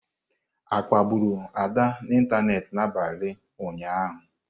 A kpagburu Ada n'ịntanetị n'abalị ụnyaahụ?